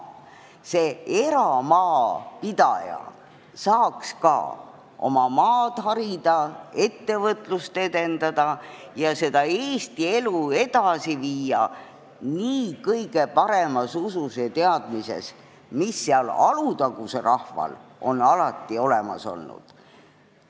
Ka eramaapidaja peaks saama oma maad harida, ettevõtlust edendada ning Eesti elu edasi viia kõige paremas usus ja teadmises, mis Alutaguse rahval on alati olemas olnud.